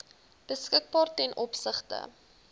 beskikbaar ten opsigte